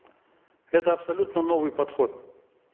это абсолютно новый подход